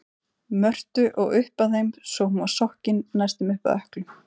Mörtu og upp að þeim svo hún var sokkin næstum upp að ökklum.